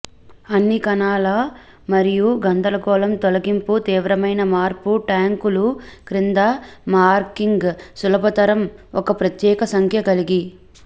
అన్ని కణాలు మరియు గందరగోళం తొలగింపు తీవ్రమైన మార్పు ట్యాంకులు క్రింద మార్కింగ్ సులభతరం ఒక ప్రత్యేక సంఖ్య కలిగి